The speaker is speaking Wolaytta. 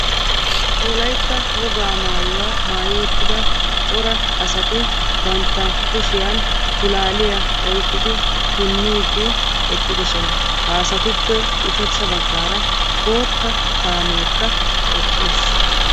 Wolaytta wogaa maayuwa maayi uttida cora asati bantta kushiyaan pulaaliya oyqqidi punniiddi eqqidosona, ha asattuppe ushachcha baggaara bootta kaamekka eqqis.